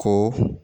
Ko